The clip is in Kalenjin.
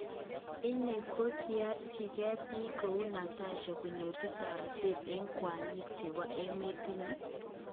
Ini koingerchinge pik kou Natasha kojeru taretet en kwanyik chepo emet nyin?